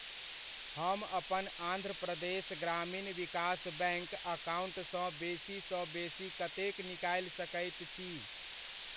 हम अपन आन्ध्र प्रदेश ग्रामीण विकास बैङ्क अकाउण्टसँ बेसी सँ बेसी कतेक निकालि सकैत छी?